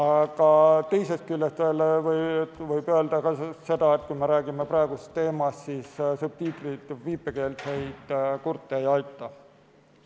Aga teisest küljest võib öelda ka seda, et kui me räägime praegusest teemast, siis subtiitrid viipekeelseid kurte ei aita.